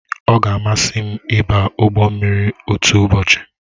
Ọ ga amasị m ịba ụgbọ mmiri otu ụbọchị